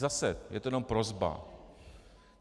Zase, je to jenom prosba.